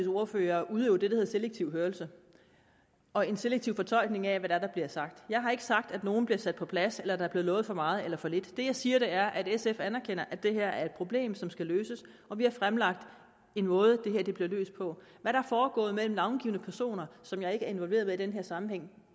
ordførere har udøvet det der hedder selektiv hørelse og har en selektiv fortolkning af hvad det er der blev sagt jeg har ikke sagt at nogle bliver sat på plads eller at der er blevet lovet for meget eller for lidt det jeg siger er at sf anerkender at det her er et problem som skal løses og vi har fremlagt en måde som det her kan blive løst på hvad er foregået mellem navngivne personer som jeg ikke er involveret med i den her sammenhæng